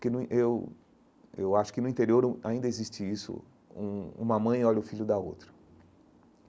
Porque no in eu eu acho que no interior hum ainda existe isso, hum uma mãe olha o filho da outra.